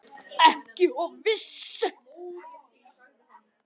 SKÚLI: Ekki of viss!